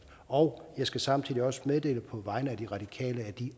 og jeg skal samtidig også meddele på vegne af det radikale